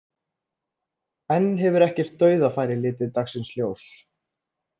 Enn hefur ekkert dauðafæri litið dagsins ljós.